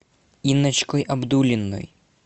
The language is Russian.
инночкой абдуллиной